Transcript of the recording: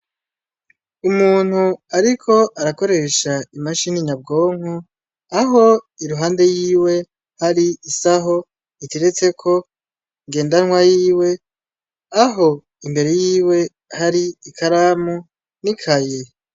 Umuntu ariko arakoresha imashini Nyabwonko ,aho iruhande y'iwe hari isaho iteretse ko Ngendanwa y'iwe ,aho imbere y'iwe hari ikaramu n'ikaye.